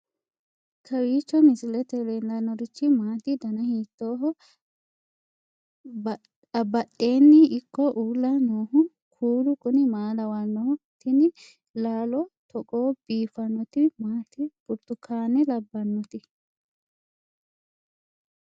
kowiicho misilete leellanorichi maati ? dana hiittooho ?abadhhenni ikko uulla noohu kuulu kuni maa lawannoho? tini laalo togo biiffannoti maati burtukane labbannoti